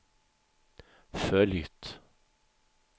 följt